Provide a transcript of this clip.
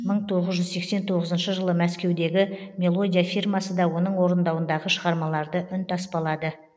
мың тоғыз жүз сексен тоғызыншы жылы мәскеудегі мелодия фирмасы да оның орындауындағы шығармаларды үнтаспалады